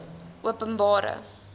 openbare